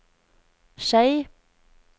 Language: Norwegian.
Skei